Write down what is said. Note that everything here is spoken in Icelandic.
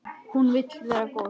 Hún vill vera góð.